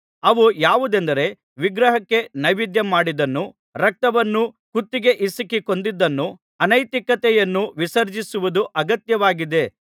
ಅವು ಯಾವುವೆಂದರೆ ವಿಗ್ರಹಕ್ಕೆ ನೈವೇದ್ಯಮಾಡಿದ್ದನ್ನೂ ರಕ್ತವನ್ನೂ ಕುತ್ತಿಗೆ ಹಿಸುಕಿ ಕೊಂದದ್ದನ್ನೂ ಅನೈತಿಕತೆಯನ್ನೂ ವಿಸರ್ಜಿಸುವುದು ಅಗತ್ಯವಾಗಿದೆ